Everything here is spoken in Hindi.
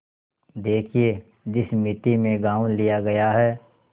देखिए जिस मिती में गॉँव लिया गया है